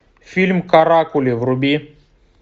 фильм каракули вруби